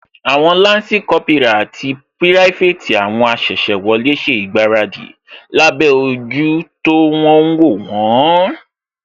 Àwọn lansi Kópírà àti pirafeti àwọn asese wọlé ṣe ìgbáradì lábẹ́ ojú tó ń wó wón